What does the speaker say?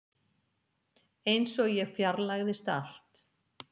Einsog ég fjarlægðist allt.